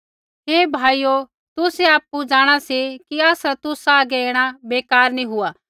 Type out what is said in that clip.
हे भाइयो तुसै आपु जाँणा सी कि आसरा तुसा हागै ऐणा बेकार नी हुआ